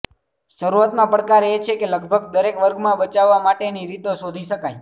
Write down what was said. શરૂઆતમાં પડકાર એ છે કે લગભગ દરેક વર્ગમાં બચાવવા માટેની રીતો શોધી શકાય